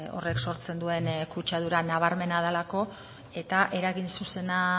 horrek sortzen duen kutsadura nabarmena delako eta eragin zuzena